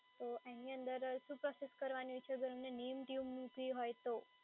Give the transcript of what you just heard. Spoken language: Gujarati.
એની અંદર શું પ્રોસેસ કરવાની હોય છે અગર અમને name tune મૂકવી હોય તો?